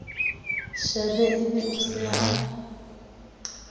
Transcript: shebe e be o seha